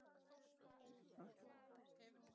Til þess er það.